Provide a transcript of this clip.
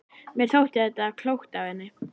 Mér þótti þetta klókt af henni.